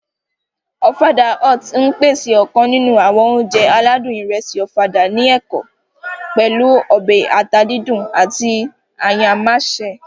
Ọ̀fadà Hut ń pèsè ọ̀kan nínú àwọn oúnjẹ aládùn ìrẹsì Ọ̀fadà ní èkó, pẹ̀lú ọbẹ̀ ata díndín àti ayámásè